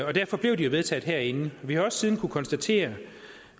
og derfor blev de jo vedtaget herinde vi har også siden kunnet konstatere